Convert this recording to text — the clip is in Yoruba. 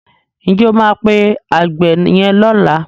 Ǹ jẹ́ o máa pe àgbẹ̀ yẹn lọ́la?